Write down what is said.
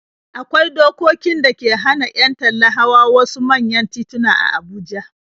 Akwai dokokin da ke hana 'yan talla hawa wasu manyan tituna a Abuja.